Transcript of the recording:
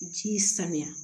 Ji sanuya